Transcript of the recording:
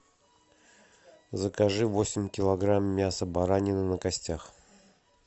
закажи восемь килограмм мяса баранины на костях